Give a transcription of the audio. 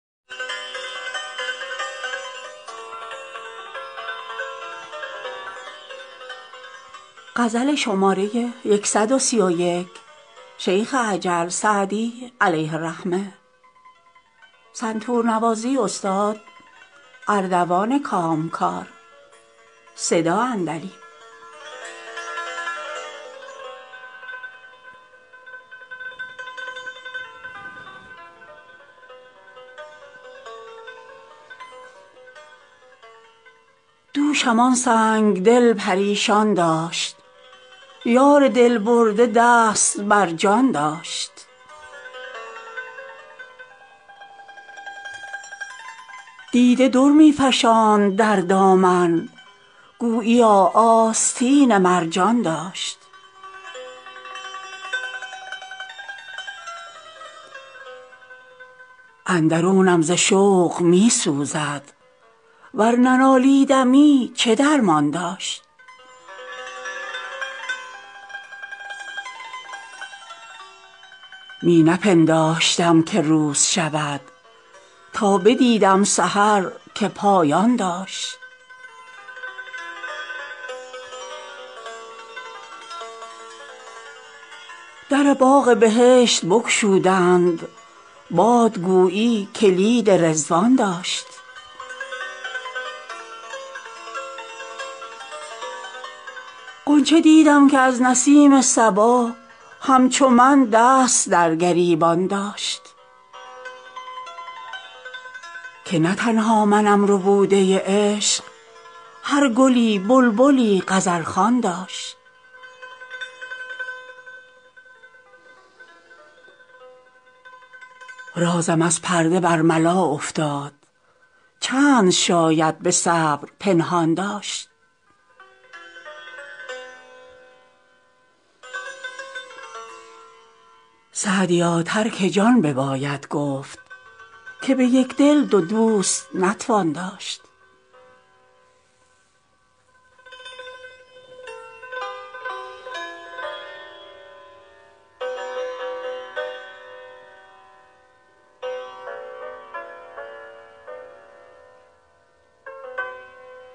دوشم آن سنگ دل پریشان داشت یار دل برده دست بر جان داشت دیده در می فشاند در دامن گوییا آستین مرجان داشت اندرونم ز شوق می سوزد ور ننالیدمی چه درمان داشت می نپنداشتم که روز شود تا بدیدم سحر که پایان داشت در باغ بهشت بگشودند باد گویی کلید رضوان داشت غنچه دیدم که از نسیم صبا همچو من دست در گریبان داشت که نه تنها منم ربوده عشق هر گلی بلبلی غزل خوان داشت رازم از پرده برملا افتاد چند شاید به صبر پنهان داشت سعدیا ترک جان بباید گفت که به یک دل دو دوست نتوان داشت